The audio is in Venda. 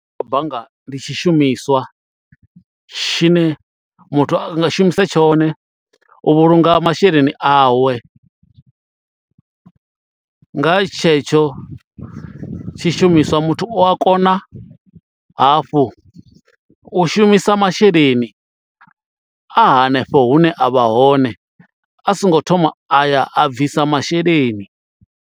bannga ndi tshishumiswa tshine muthu anga shumise tshone u vhulunga masheleni awe, nga tshetsho tshishumiswa muthu u a kona hafhu u shumisa masheleni a hanefho hune avha hone a songo thoma a ya a bvisa masheleni.